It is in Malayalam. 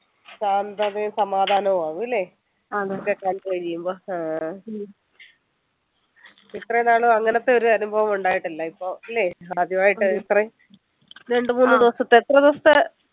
ശാന്തതയും സമാധാനവും ആവും ല്ലേ ഇതൊക്കെ കഴിയുമ്പോ ആഹ് ഇത്രനാളും അങ്ങനത്തെ ഒരനുഭവം ഉണ്ടായിട്ടില്ല ഇപ്പൊ അല്ലെ ആദ്യമായിട്ടാ ഇത്രയും രണ്ടുമൂന്നു ദിവസത്തെ എത്ര ദിവസത്തെ